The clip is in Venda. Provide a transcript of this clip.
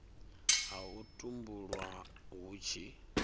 ha u tumbulwa hu tshi